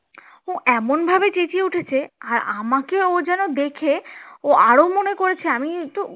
ও এমন ভাবে চেঁচিয়ে উঠেছে আর আমাকে ও যেন দেখে ও আরো মনে করেছে আমি